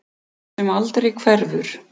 Það sem aldrei hverfur.